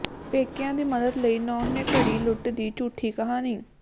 ਪੇਕਿਆਂ ਦੀ ਮਦਦ ਲਈ ਨੂੰਹ ਨੇ ਘੜੀ ਲੁੱਟ ਦੀ ਝੂਠੀ ਕਹਾਣੀ